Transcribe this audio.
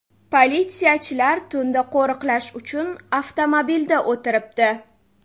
Politsiyachilar tunda qo‘riqlash uchun avtomobilda o‘tiribdi.